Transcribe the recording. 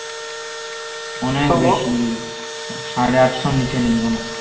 অনেক বেশি সাড়ে আটশোর নিচে নেই কোনও